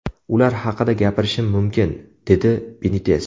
Ular haqida gapirishim mumkin”, dedi Benites.